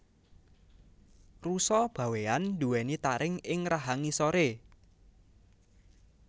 Rusa bawean duweni taring ing rahang ngisore